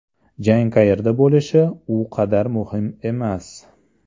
Jang qayerda bo‘lishi u qadar muhim emas.